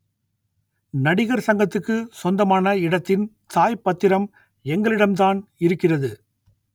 நடிகர் சங்கத்துக்கு சொந்தமான இடத்தின் தாய் பத்திரம் எங்களிடம்தான் இருக்கிறது